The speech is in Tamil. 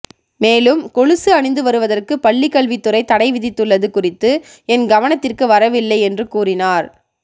மேலும் கொலுசு அணிந்து வருவதற்கு பள்ளிக்கல்விதுறை தடை விதித்துள்ளது குறித்து என் கவனத்திற்கு வரவில்லை என்று கூறினார்